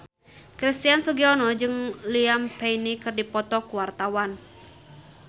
Christian Sugiono jeung Liam Payne keur dipoto ku wartawan